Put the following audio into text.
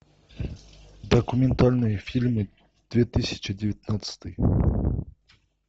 документальные фильмы две тысячи девятнадцатый